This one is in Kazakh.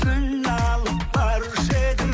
гүл алып барушы едім